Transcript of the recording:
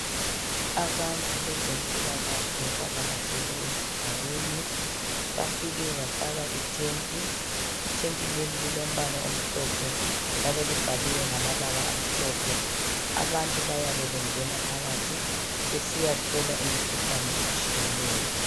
Abantu bezempilakahle bavakatsele ezigabeni , bafike bafaka i tent, i tent leli limhlophe njalo libhaliwe ngamabala amhlophe. Abantu bayabe bengena phakathi besiyahlolwa imikhuhlane etshiyeneyo.